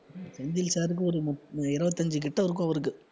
Senthil sir க்கு ஒரு முப்~ அஹ் இருபத்தஞ்சு கிட்ட இருக்கும் அவருக்கு